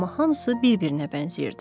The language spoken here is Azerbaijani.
Amma hamısı bir-birinə bənzəyirdi.